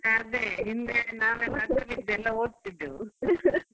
ಹ ಅದೇ ಹಿಂದೆ ನಾವೆಲ್ಲ ಅಡ್ಡ ಬಿದ್ದೆಲ್ಲಾ ಒದ್ತಿದ್ದೆವು